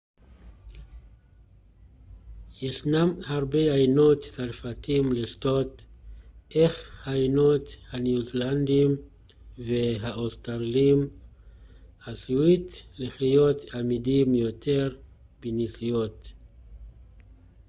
ישנם הרבה יינות צרפתיים לשתות אך היינות הניו-זילנדיים והאוסטרליים עשויים להיות עמידים יותר בנסיעות